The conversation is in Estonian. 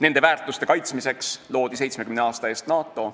Nende väärtuste kaitsmiseks loodi 70 aasta eest NATO.